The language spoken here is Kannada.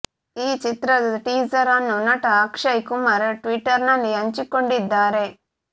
ಈ ಚಿತ್ರದ ಟೀಸರ್ ಅನ್ನು ನಟ ಅಕ್ಷಯ್ ಕುಮಾರ್ ಟ್ವೀಟರ್ ನಲ್ಲಿ ಹಂಚಿಕೊಂಡಿದ್ದಾರೆ